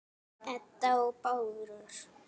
Edda og Bárður.